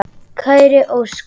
Kæri Óskar.